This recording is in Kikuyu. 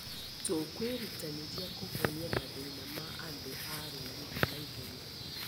Tũkwĩrutanĩria kũhonia mathĩna ma andũ a ũrũri naihenya.